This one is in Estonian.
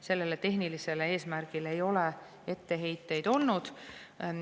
Sellele tehnilisele eesmärgile ei ole etteheiteid olnud.